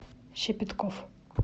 щепетков